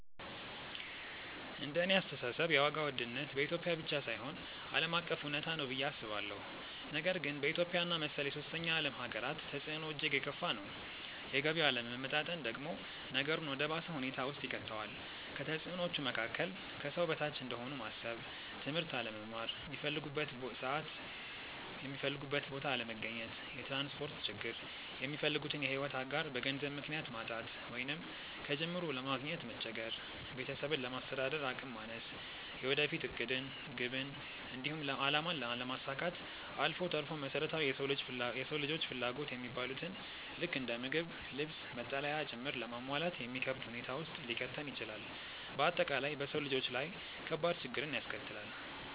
እንደኔ አስተሳሰብ የዋጋ ውድነት በኢትዮጵያ ብቻ ሳይሆን ዓለም አቀፍ እውነታ ነው ብዬ አስባለሁ፤ ነገር ግን በኢትዮጵያ እና መሰል የሶስተኛ ዓለም ሃገራት ተፅዕኖው እጅግ የከፋ ነው። የገቢ አለመመጣጠን ደግሞ ነገሩን ወደ ባሰ ሁኔታ ውስጥ ይከተዋል። ከተፅዕኖዎቹ መካከል፦ ከሰው በታች እንደሆኑ ማሰብ፣ ትምህርት አለመማር፣ ሚፈልጉበት ሰዓት የሚፈልጉበት ቦታ አለመገኘት፣ የትራንስፖርት ችግር፣ የሚፈልጉትን የሕይወት አጋር በገንዘብ ምክንያት ማጣት ወይንም ከጅምሩ ለማግኘት መቸገር፣ ቤተሰብን ለማስተዳደር አቅም ማነስ፣ የወደፊት ዕቅድን፣ ግብን፣ እንዲሁም አላማን አለማሳካት አልፎ ተርፎም መሰረታዊ የሰው ልጆች ፍላጎት የሚባሉትን ልክ እንደ ምግብ፣ ልብስ፣ መጠለያ ጭምር ለማሟላት የሚከብድ ሁኔታ ውስጥ ሊከተን ይችላል። በአጠቃላይ በሰው ልጆች ላይ ከባድ ችግርን ያስከትላል።